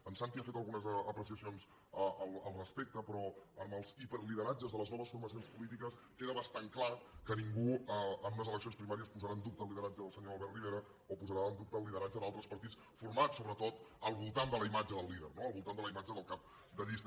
en santi ha fet algunes apreciacions al respecte però amb els hiperlideratges de les noves formacions polítiques queda bastant clar que ningú en unes eleccions primàries posarà en dubte el lideratge del senyor albert rivera o posarà en dubte el lideratge d’altres partits formats sobretot al voltant de la imatge del líder no al voltant de la imatge del cap de llista